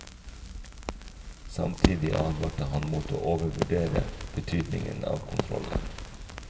Samtidig advarte han mot å overvurdere betydningen av kontrollen.